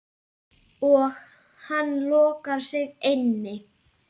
Og hann lokar sig inni.